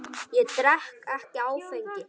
Ég drekk ekki áfengi.